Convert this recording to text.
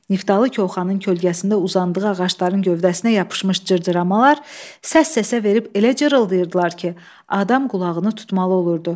Niftalı Koxanın kölgəsində uzandığı ağacların gövdəsinə yapışmış cırcıramalar səs-səsə verib elə cırıldayırdılar ki, adam qulağını tutmalı olurdu.